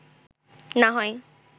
না হয়